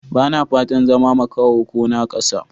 Ba na fatan zama makaho ko naƙasa.